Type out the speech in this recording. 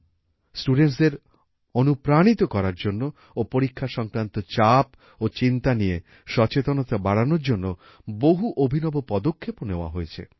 studentsদের অনুপ্রাণিত করার জন্য ও পরীক্ষা সংক্রান্ত চাপ ও চিন্তা নিয়ে সচেতনতা বাড়ানোর জন্য বহু অভিনব পদক্ষেপও নেওয়া হয়েছে